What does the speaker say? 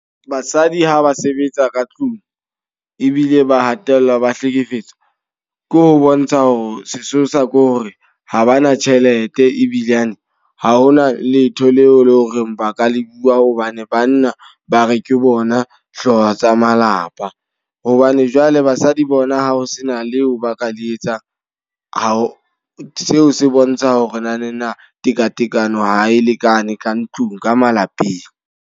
Basadi ha ba sebetsa ka tlung, ebile ba hatellwa ba hlekefetswa. Ke ho bontsha hore sesosa ke hore ha ba na tjhelete ebilane ha hona letho leo e leng hore ba ka le bua. Hobane banna ba re ke bona hlooho tsa malapa. Hobane jwale basadi bona ha ho sena leo ba ka le etsang. Ha seo se bontsha ho re naneng na tekatekano ha e lekane ka ntlung, ka malapeng.